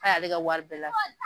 K'a y'ale ka wari bɛɛ lafili.